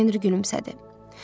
Lord Henri gülümsədi.